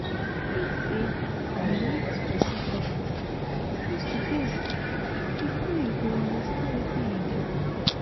im say you need to see poverty face to face bifor you go understand wetin e be.